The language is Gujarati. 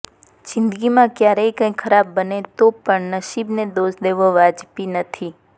જિંદગીમાં ક્યારેક કંઈ ખરાબ બને તો પણ નસીબને દોષ દેવો વાજબી નથી